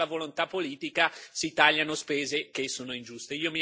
Quando c'è la volontà politica si tagliano spese che sono ingiuste.